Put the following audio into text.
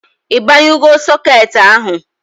I banyugo soket ahụ?